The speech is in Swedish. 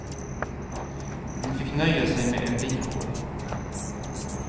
Hon fick nöja sig med en biroll.